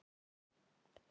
Hvað er afi?